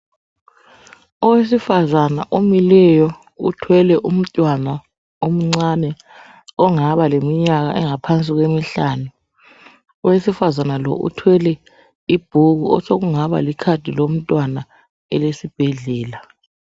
Owesifazana omileyo uthwele umntwana omncane ongaba leminyaka engaphansi kwemihlanu owesifazana lo uthwele ibhuku osokungaba likhadi lomntwana elesibhedlela .